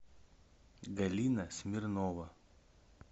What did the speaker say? галина смирнова